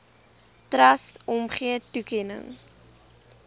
trust omgee toekenning